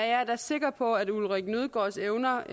er da sikker på at ulrik nødgaards evner